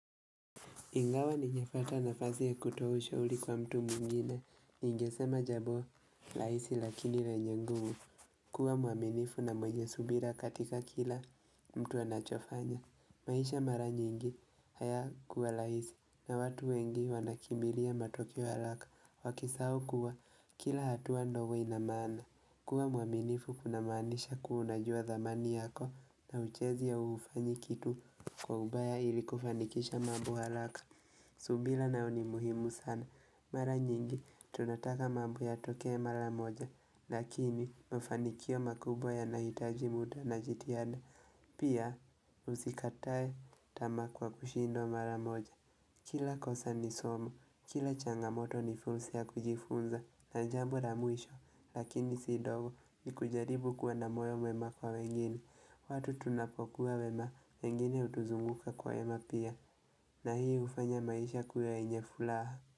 Ingawa nimepata nafasi ya kutoa ushauri kwa mtu mwingine. Ningesema jambo, rahisi lakini lenye nguvu. Kuwa mwaminifu na mwenye subira katika kila mtu anachofanya. Maisha mara nyingi, hayakuwa rahisi. Na watu wengi wanakimbilia matokeo ya haraka. Wakisahau kuwa, kila hatua ndo huwa ina maana. Kuwa mwaminifu kunamaanisha kuwa unajua dhamani yako na huchezi au hufanyi kitu kwa ubaya ili kufanikisha mambo haraka. Subira nayo ni muhimu sana, mara nyingi tunataka mambo yatokee mara moja, lakini mafanikio makubwa yanahitaji muda na jitihada, pia usikate tamaa kwa kushindwa mara moja. Kila kosa ni somo, kila changamoto ni funsi ya kujifunza, na jambo la mwisho, lakini si ndogo ni kujaribu kuwa na moyo mwema kwa wengine, watu tunapokuwa wema, wengine hutuzunguka kwa wema pia, na hii hufanya maisha kuwa yenye furaha.